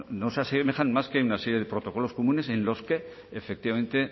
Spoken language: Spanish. no se asemejan más que en una serie de protocolos comunes en los que efectivamente